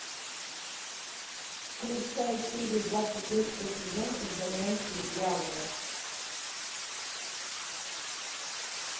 включай серию двадцать третьего сезона изгоняющий дьявола